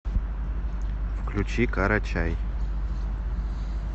включи карачай